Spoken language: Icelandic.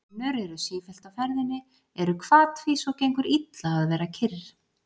Önnur eru sífellt á ferðinni, eru hvatvís og gengur illa að vera kyrr.